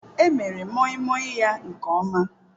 Emere Moimoi ya nke ọma.